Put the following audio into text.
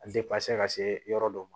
A ka se yɔrɔ dɔ ma